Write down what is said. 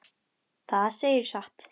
Það segirðu satt.